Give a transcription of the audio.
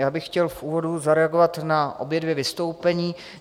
Já bych chtěl v úvodu zareagovat na obě dvě vystoupení.